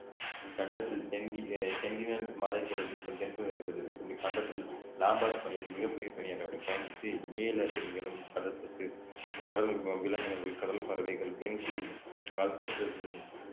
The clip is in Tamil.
இக்கண்டத்தில் சென்டி~ அஹ் சென்டினல் மலைத்தொடர் தென்பகுதி அமைந்துள்ளது இக்கண்டத்தில் லாம்பர்ட் பனியாறு மிகப்பெரிய பனியாறாகும் பயன்படுத்தி நீலத் திமிங்கலம் கடல் பசு கடல் அஹ் விலங்கினங்கள் கடல் பறவைகள் பென்குயின் அல்பட்ராஸ்